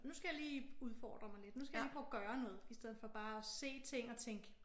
Nu skal jeg lige udfordre mig lidt nu skal jeg lige prøve at gøre noget i stedet for bare at se ting og tænke